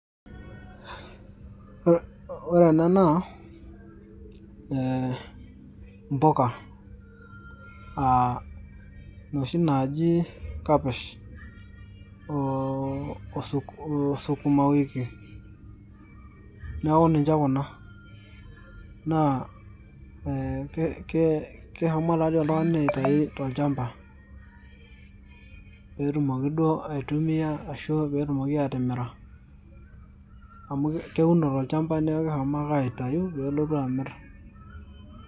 ore ena naa ee impuka aa noshi naaji kapish oo sukumawiki neeku ninche kuna naa ee kee keshomo taa dii oltung'ani aitai tolchamba peetumoki duo aitumia ashu peetumoki atimira amu keuno tolchamba neeku keshomo ake aitayu peelotu amirr.